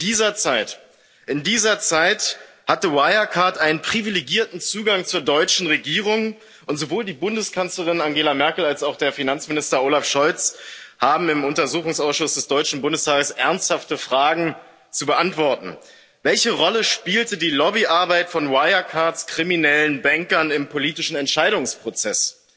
In dieser Zeit hatte Wirecard einen privilegierten Zugang zur deutschen Regierung, und sowohl die Bundeskanzlerin Angela Merkel als auch Finanzminister Olaf Scholz haben im Untersuchungsausschuss des Deutschen Bundestages ernsthafte Fragen zu beantworten Welche Rolle spielte die Lobbyarbeit von Wirecards kriminellen Bankern im politischen Entscheidungsprozess?